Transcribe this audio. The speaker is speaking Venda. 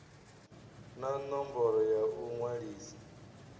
na ṋomboro ya u ṅwalisa